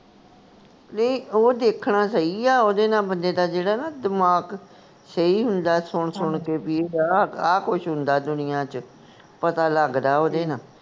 ਨਹੀਂ ਓਹ ਦੇਖਦਾ ਸਹੀ ਆ ਓਹਦੇ ਨਾਲ ਬੰਦੇ ਦਾ ਜਿਹੜਾ ਨਾ ਦਿਮਾਗ ਸਹੀ ਹੁੰਦਾ ਸੁਣ ਸੁਣ ਕੇ ਬਈ ਆਹ ਆਹ ਕੁਛ ਹੁੰਦਾ ਦੁਨੀਆਂ ਵਿਚ ਪਤਾ ਲੱਗਦਾ ਉਹਦੇ ਨਾਲ